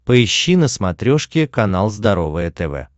поищи на смотрешке канал здоровое тв